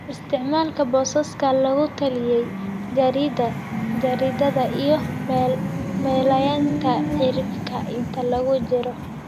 isticmaal boosaska lagu taliyey, jaridda jaridda iyo meelaynta cirifka inta lagu jiro